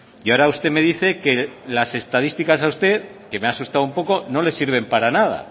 y ahora usted me dice que las estadísticas a usted que me ha asustado un poco no le sirven para nada